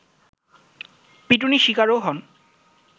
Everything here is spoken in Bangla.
পিটুনি শিকারও হন